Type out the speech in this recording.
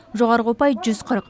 жоғарғы ұпай жүз қырық